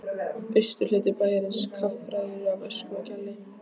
Austurhluti bæjarins kaffærður af ösku og gjalli.